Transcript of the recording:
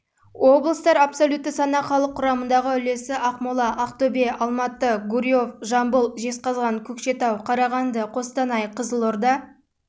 облыстар абсолютті санақ халық құрамындағы үлесі ақмола ақтөбе алматы гурьев жамбыл жезқазған көкшетау қарағанды қостанай қызылорда